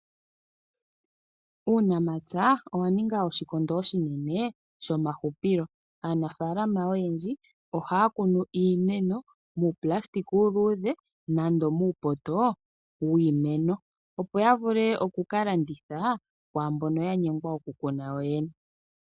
Uunamapya owa ninga oshikondo oshinene shomahupilo. Aanafaalama oyendji ohaya kunu iimeno muunayilona uuluudhe nenge muupoto wiimeno, opo ya vule oku ka landitha kwaa mbono ya nyengwa okukuna yoyene.